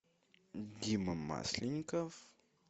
дима масленников